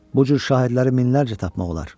Bu cür şahidləri minlərlə tapmaq olar.